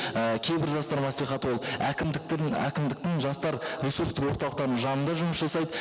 і кейбір жастар мәслихаты ол әкімдіктердің әкімдіктің жастар ресурстық орталықтардың жанында жұмыс жасайды